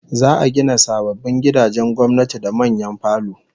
Za'a gina sababbin gidajen gwamnati da manyan falo